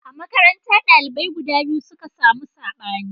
A makaranta, dalibai guda biyu suka samu sabani.